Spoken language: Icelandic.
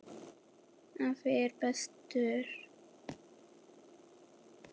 Afi var bestur.